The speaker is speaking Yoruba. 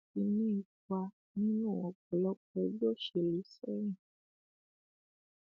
mo ní ipa nínú ọpọlọpọ ẹgbẹ òṣèlú sẹyìn